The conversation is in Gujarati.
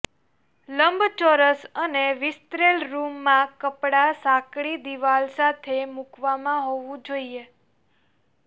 લંબચોરસ અને વિસ્તરેલ રૂમ માં કપડા સાંકડી દીવાલ સાથે મૂકવામાં હોવું જોઈએ